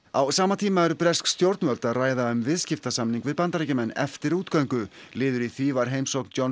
á sama tíma eru bresk stjórnvöld að ræða um viðskiptasamning við Bandaríkjamenn eftir útgöngu liður í því var heimsókn Johns